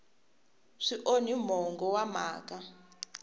swi onhi mongo wa mhaka